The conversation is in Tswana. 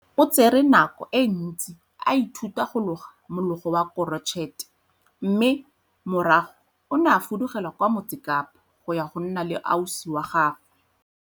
O tsere nako e ntsi a ithuta go loga mologo wa korotšhete mme morago o ne a fudugela kwa Motse Kapa go ya go nna le ausi wa gagwe.